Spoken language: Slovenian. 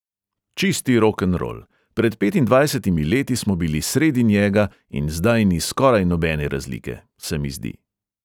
"Čisti rokenrol, pred petindvajsetimi leti smo bili sredi njega in zdaj ni skoraj nobene razlike, se mi zdi."